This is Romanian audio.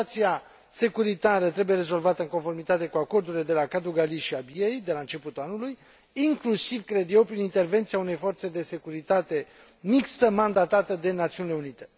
Situația securității trebuie rezolvată în conformitate cu acordurile de la Kadugli si Abiey de la începutul anului, inclusiv, cred eu, prin intervenția unei forțe de securitate mixtă mandatată de Națiunile Unite.